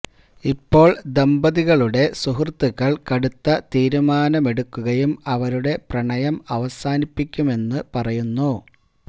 ഇപ്പോൾ ദമ്പതികളുടെ സുഹൃത്തുക്കൾ കടുത്ത തീരുമാനമെടുക്കുകയും അവരുടെ പ്രണയം അവസാനിപ്പിക്കുമെന്ന് പറയുന്നു